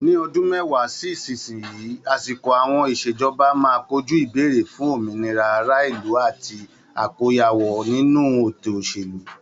Ní ọdún mẹ́wàá sí ìsinsìnyí, àsìkò àwọn ìṣèjọba máa kojú ìbéèrè fún òmìnira ará ìlú àti àkóyawọ́ ninu ètò òṣèlú.